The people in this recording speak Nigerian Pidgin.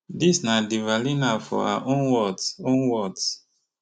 dis na devalina for her own words own words